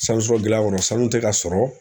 sanu tɛ ka sɔrɔ